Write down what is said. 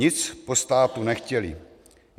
Nic po státu nechtěli.